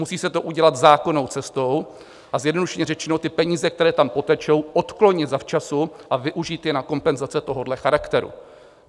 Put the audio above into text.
Musí se to udělat zákonnou cestou, a zjednodušeně řečeno, ty peníze, které tam potečou, odklonit zavčasu a využít je na kompenzace tohohle charakteru.